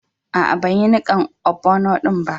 Aa, ban yi nikan ogbono'n ba.